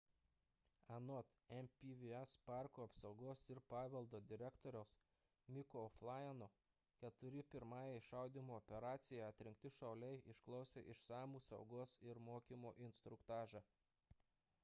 anot npws parko apsaugos ir paveldo direktoriaus micko o'flynno keturi pirmajai šaudymo operacijai atrinkti šauliai išklausė išsamų saugos ir mokymo instruktažą